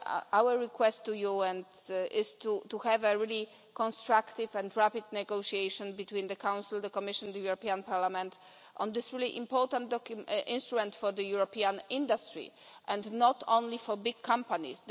Our request to you is to have a really constructive and rapid negotiation between the Council, the Commission and Parliament on this really important instrument for European industry, and not only for big companies.